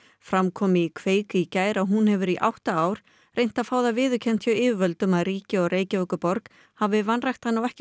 fram kom í í gær að hún hefur í átta ár hefur reynt að fá það viðurkennt hjá yfirvöldum að ríkið og Reykjavíkurborg hafi vanrækt hana og ekki